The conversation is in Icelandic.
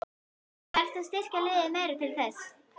Þarftu að styrkja liðið meira til þess?